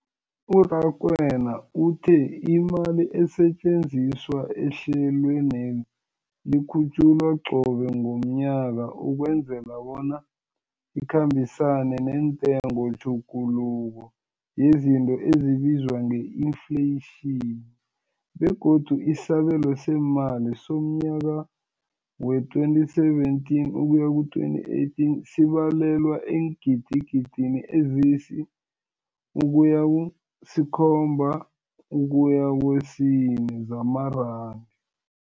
U-Rakwena uthe imali esetjenziswa ehlelweneli ikhutjhulwa qobe ngomnyaka ukwenzela bona ikhambisane nentengotjhuguluko yezinto ebizwa nge-infleyitjhini, begodu isabelo seemali somnyaka we-2017 ukuya ku-2018 sibalelwa eengidigidini ezisi-6.4 zamaranda.